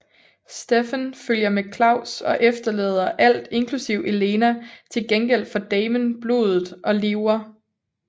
Stefan følger med Klaus og efterlader alt inklusiv Elena til gengæld for Damon blodet og lever